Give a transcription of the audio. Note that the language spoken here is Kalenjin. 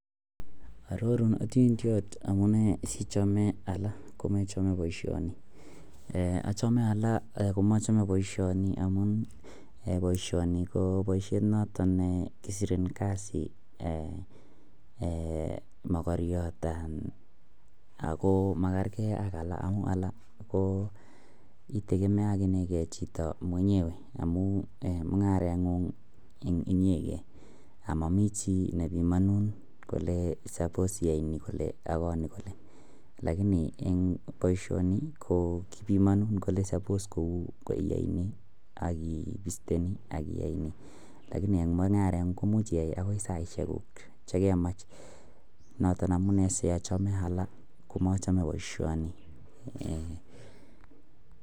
Ororun otindoit amune sichome ala komechome boisioni, achome ala komochome boisioni amun boisioni ko boisiet noton nekisirin kasi mogoriot, ako magergee ak alak amu alak itegemeonege chito mwenyewe amun mung'areng'ung inyegen amomi chii nepimonun kole sapos iyai ni kole ako ni kole, lagini boisioni ko kibimomi kole sapos ko iyai ni ak iste ni ak iya ni lagini en mung'areng'u komuch iyae en saisiekuk chekemach noton amune siochome ala komochome boisioni.